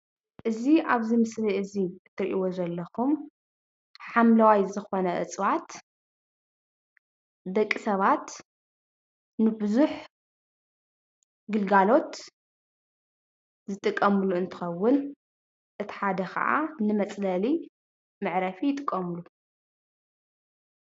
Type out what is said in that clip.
እዚ ኣብዚ ምስሊ እዚ ትርእይዎ ዘለኩም ሓመላዋይ ዝኮነ እፅዋት ደቂ ሰባት ንብዙሕ ግልጋሎት ዝጥቀሙሉ እንትከዉን እቲ ሓደ ካኣ ንመፅለሊ መዕረፊ ይጥቀሙሉ፡፡